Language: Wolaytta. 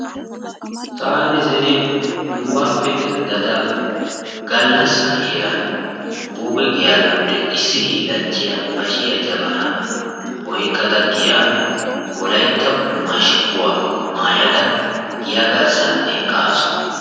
Taani zino nugaappe denddada gaallasa heeran buuge giyaa biyoode issi hiillanchchiyaa bashiyaa jabanaa oykkada giyaan wolaytta mashshkuwaa maayada giya garssaan eqqaasu.